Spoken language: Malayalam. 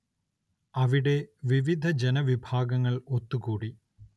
അവിടെ വിവിധ ജനവിഭാഗങ്ങൾ ഒത്തുകൂടി.